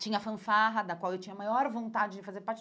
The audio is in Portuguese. Tinha a fanfarra da qual eu tinha a maior vontade de fazer parte.